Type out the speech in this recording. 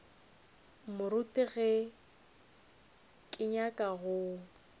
moruti ge ke nyaka go